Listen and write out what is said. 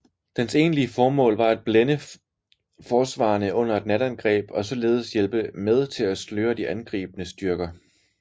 Dens egentlige formål var at blænde forsvarerne under et natangreb og således hjælpe med til at sløre de angribende styrker